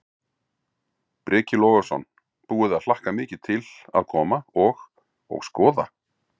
Breki Logason: Búið að hlakka mikið til að koma og, og skoða?